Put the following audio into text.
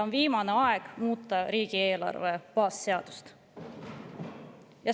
On viimane aeg muuta riigieelarve baasseadust.